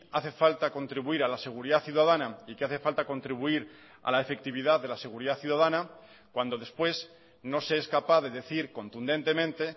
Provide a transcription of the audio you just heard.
hace falta contribuir a la seguridad ciudadana y que hace falta contribuir a la efectividad de la seguridad ciudadana cuando después no se es capaz de decir contundentemente